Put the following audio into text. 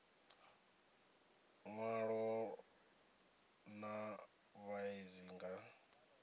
ṅwalo ḽa vhuṋe dzi nga